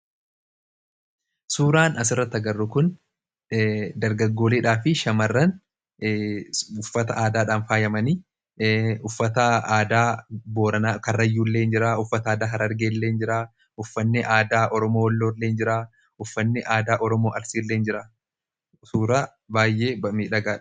Suuraan as irratti agarru kun dargaggooleedhaa fi shamarran uffata aadaadhaan faayyamanii ;uffata aadaa karrayyuu illeen jira, uffata aadaa harargeelleen jira, uffanni aadaa Oromoo Walloolleen jira. Uffanni aadaa Oromoo Arsiilleen jira sura baayyee midhagaadha.